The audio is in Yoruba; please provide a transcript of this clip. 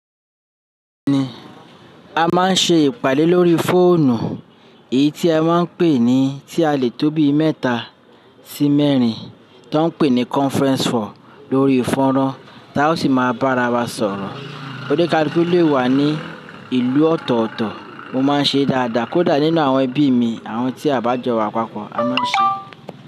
A máa ń ṣe ìpàdé lórí fóònù, èyí tí a máa ń pè ní tí a lè tó bí mẹ́ta sí mẹ́rin tó ń pè ní conference call lórí foran táa o sì máa bára wa sọ̀rọ̀. Oni kaluku lè wà ní ìlú ọ̀tọ̀ọ̀tọ̀, mo máa ń ṣe dáadáa kódà nínú àwọn ẹbí mi àwọn tí a bá jọ wà papọ̀ a máa ń ṣe.